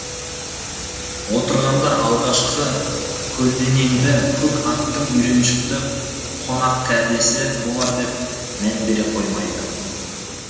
отырғандар алғашқы көлденеңді көк аттының үйреншікті қонақ кәдесі болар деп мән бере қоймайды